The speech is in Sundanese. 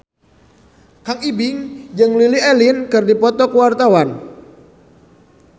Kang Ibing jeung Lily Allen keur dipoto ku wartawan